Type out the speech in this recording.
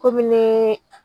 Komi neee.